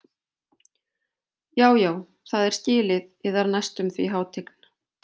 Já, já það er skilið yðar næstum því hátign.